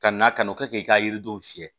Ka na ka n'o kɛ k'i ka yiridenw fiyɛ